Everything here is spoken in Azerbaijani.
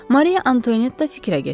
Mari Antuanetta fikrə getdi.